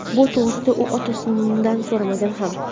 Bu to‘g‘risida u otasidan so‘ramagan ham.